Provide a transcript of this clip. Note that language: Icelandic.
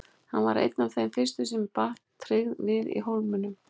Hann varð einn af þeim fyrstu sem ég batt tryggð við í Hólminum.